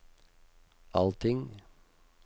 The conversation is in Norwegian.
allting